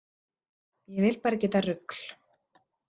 Ég vil bara ekki þetta rugl.